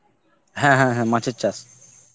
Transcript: হ্যাঁ, হ্যাঁ, হ্যাঁ, মাছের চাষ.